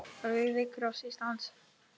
Rauði kross Íslands